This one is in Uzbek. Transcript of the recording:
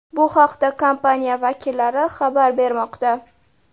Bu haqda kompaniya vakillari xabar bermoqda .